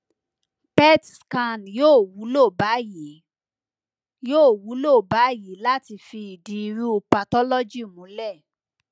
pet scan yoo wulo bayii yoo wulo bayii lati fi idi iru pathology mulẹ